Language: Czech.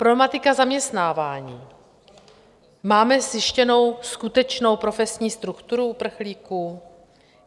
Problematika zaměstnávání: máme zjištěnou skutečnou profesní strukturu uprchlíků?